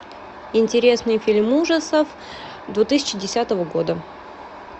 интересный фильм ужасов две тысячи десятого года